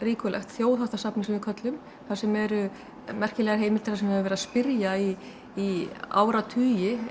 Þjóðháttasafnið sem við köllum þar sem eru merkilegar heimildir þar sem við höfum verið að spyrja í í áratugi